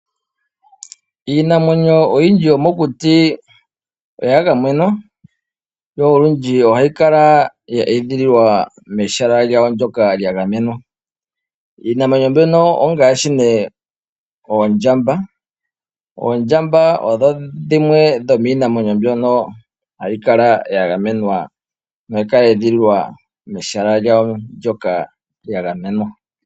Iinamwenyo oyindji yomokuti oya gamenwa, yo olundji ohayi kala ya edhililwa mehala lyawo ndyoka lyagamenwa. Iinamwenyo mbyono ongaashi nee oondjamba. Oondjamba odho dhimwe dhomiinamwenyo mbyono hayi kala yagamenwa nohayi kala ya edhililwa mehala lyawo ndyoka lyagamenwa.